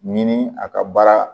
Ɲini a ka baara